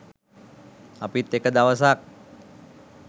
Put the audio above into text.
අපිත් එක දවසක්